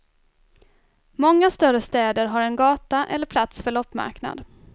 Många större städer har en gata eller plats för loppmarknad.